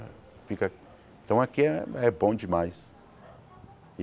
Fica então aqui é é bom demais.